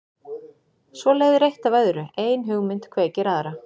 Svo leiðir eitt af öðru, ein hugmynd kveikir aðra.